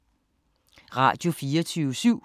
Radio24syv